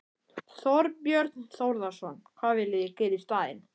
Þorbjörn Þórðarson: Hvað viljið þið gera í staðinn?